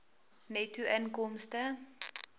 netto inkomste